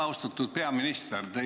Austatud peaminister!